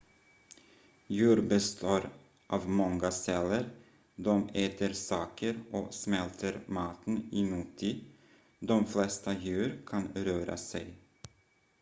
djur består av många celler de äter saker och smälter maten inuti de flesta djur kan röra sig